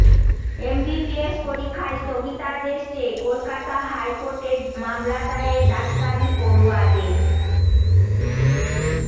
MBBS পরীক্ষায় স্থগিতাদেশ চেয়ে কলকাতা হাইকোর্টে মামলা দায়ের ডাক্তারি পড়ুয়াদের